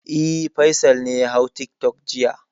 E, Faisal ne ya hau tiktok jiya.